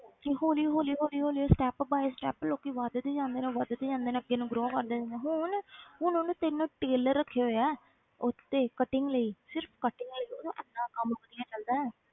ਤੇ ਹੌਲੀ ਹੌਲੀ ਹੌਲੀ ਹੌਲੀ ਉਹ step by step ਲੋਕੀ ਵੱਧਦੇ ਜਾਂਦੇ ਨੇ ਵੱਧਦੇ ਜਾਂਦੇ ਨੇ ਅੱਗੇ ਨੂੰ grow ਕਰਦੇ ਜਾਂਦੇ ਆ ਹੁਣ ਹੁਣ ਉਹਨੇ ਤਿੰਨ tailor ਰੱਖੇ ਹੋਏ ਹੈ ਉਹ ਤੇ cutting ਲਈ ਸਿਰਫ਼ cutting ਲਈ ਉਹਦਾ ਇੰਨਾ ਕੰਮ ਵਧੀਆ ਚੱਲਦਾ ਹੈ,